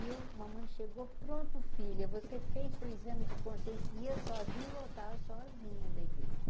E a mamãe chegou pronto, filha, você fez seu exame de consciência ia sozinha voltar sozinha da igreja.